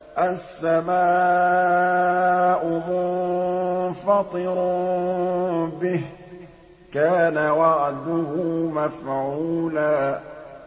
السَّمَاءُ مُنفَطِرٌ بِهِ ۚ كَانَ وَعْدُهُ مَفْعُولًا